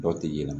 Dɔw tɛ yela